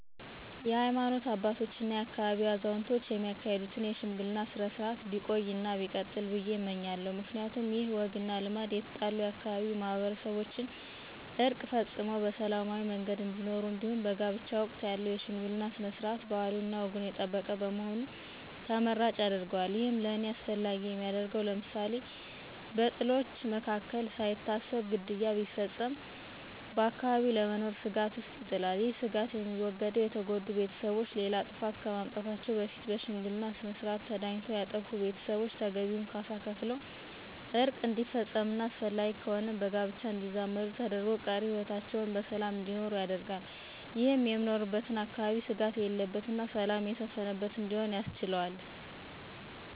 የሀይማኖት አባቶች እና የአካባቢው አዛውንቶች የሚያካሂዱትን የሽምግልና ስነ-ስርዓት ቢቆይ እና ቢቀጥል ብዬ እመኛለሁ። ምክንያቱም ይህ ወግ እና ልማድ የተጣሉ የአካባቢው ማህበረሰቦችን ዕርቅ ፈፅመው በሰላማዊ መንገድ እንዲኖሩ እንዲሁም በጋብቻ ወቅት ያለው የሽምግልና ስነ-ስርዓት ባህሉንና ወጉን የጠበቀ በመሆኑ ተመራጭ ያደርገዋል። ይህም ለእኔ አስፈላጊ የሚያደርገው ለምሳሌ፦ በጥሎች መካከል ሳይታሰብ ግድያ ቢፈፀም በአካባቢው ለመኖር ስጋት ውስጥ ይጥላል። ይህ ስጋት የሚወገደው የተጎዱ ቤተሰቦች ሌላ ጥፋት ከማምጣታቸው በፊት በሽምግልና ስነስርዓት ተዳኝቶ ያጠፉ ቤተሰቦች ተገቢውን ካሳ ከፍለው ዕርቅ እንዲፈፀምና አስፈላጊ ከሆነም በጋብቻ እንዲዛመዱ ተደርጎ ቀሪ ህይወታቸውን በሰላም እንዲኖሩ ያደርጋል። ይህም የምኖርበትን አካባቢ ስጋት የሌለበትና ሰላም የሰፈነበት እንዲሆን ያስችለዋል።